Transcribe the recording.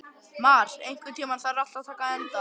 Mar, einhvern tímann þarf allt að taka enda.